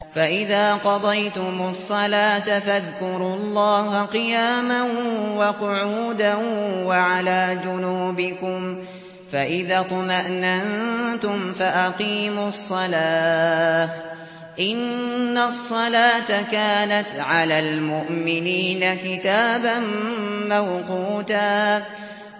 فَإِذَا قَضَيْتُمُ الصَّلَاةَ فَاذْكُرُوا اللَّهَ قِيَامًا وَقُعُودًا وَعَلَىٰ جُنُوبِكُمْ ۚ فَإِذَا اطْمَأْنَنتُمْ فَأَقِيمُوا الصَّلَاةَ ۚ إِنَّ الصَّلَاةَ كَانَتْ عَلَى الْمُؤْمِنِينَ كِتَابًا مَّوْقُوتًا